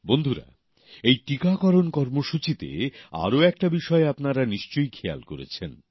বন্ধুরা এই টিকাকরণ কর্মসূচীতে আরও একটা বিষয়ের প্রতি আপনারা নিশ্চয়ই খেয়াল করেছেন